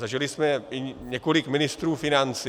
Zažili jsme i několik ministrů financí.